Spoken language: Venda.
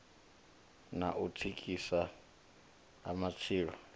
na u thithisea ha matshilo